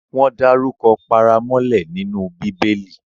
Wọ́n dárukọ paramọ́lẹ nínú Bíbẹlì